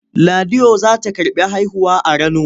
Ladiyo za ta karɓi haihuwa a Rano.